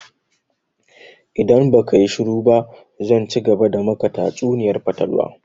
In baka yi shuru ba zan cigaba da maka tatsuniyar fatalwa!